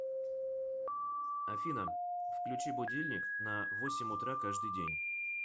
афина включи будильник на восемь утра каждый день